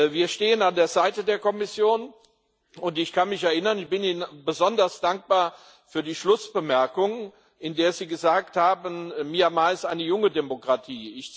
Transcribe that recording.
Wir stehen an der Seite der Kommission, und ich bin Ihnen besonders dankbar für die Schlussbemerkung, in der Sie gesagt haben Myanmar ist eine junge Demokratie.